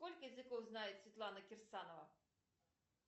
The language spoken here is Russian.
сколько языков знает светлана кирсанова